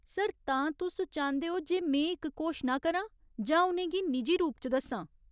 Sir, तां तुस चांह्दे ओ जे में इक घोशना करां जां उ'नें गी निजी रूप च दस्सां ?